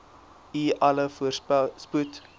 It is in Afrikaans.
u alle voorspoed